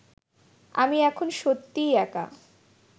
আমি এখন সত্যিই একা